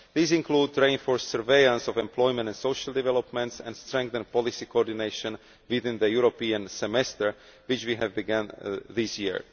These include reinforced surveillance of employment and social developments and strengthened policy coordination within the European Semester which we have begun this year